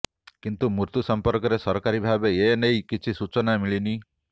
କିନ୍ତୁ ମୃତ୍ୟୁ ସଂପର୍କରେ ସରକାରୀ ଭାବେ ଏନେଇ କିଛି ସୂଚନା ମିଳିନି